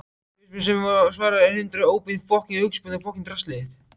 Fyrirspurnir sem var svarað: Er hindrun óbein aukaspyrna?